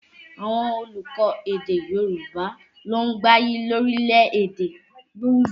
Àwọn olùkọ́ èdè Yorùbá ló ń gbayì lórílẹ̀ èdè káàkiri báyìí